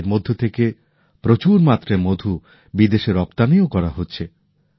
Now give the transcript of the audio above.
এর মধ্যে থেকে প্রচুর মাত্রায় মধু বিদেশে রপ্তানিও করা হচ্ছে